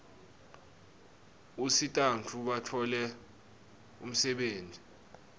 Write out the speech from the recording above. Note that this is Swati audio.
usitabantfu batfole umsebtniti